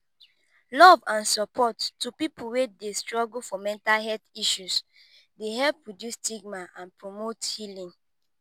love and support to people wey dey struggle for mental health issues dey help reduce stigma and promote healing.